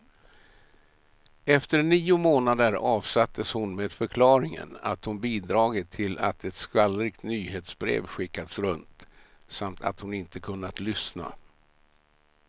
Efter nio månader avsattes hon med förklaringen att hon bidragit till att ett skvallrigt nyhetsbrev skickats runt, samt att hon inte kunnat lyssna.